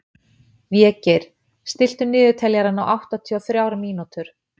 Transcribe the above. Végeir, stilltu niðurteljara á áttatíu og þrjár mínútur.